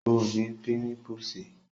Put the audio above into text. Ọ́ ní pímipùsì